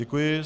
Děkuji.